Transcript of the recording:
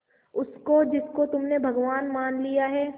उसको जिसको तुमने भगवान मान लिया है